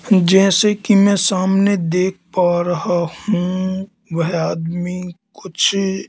जैसे कि मैं सामने देख पा रहा हूं वह आदमी कुछ--